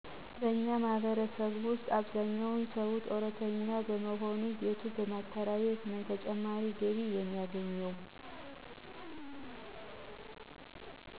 በእኛ ማህበረሰብ ውሰጥ አብዛኛው ሰው ጡረተኛ በሞሆኑ ቤቱን በማከራየት ነው ተጨማሪ ገቢ የሚያገኘው።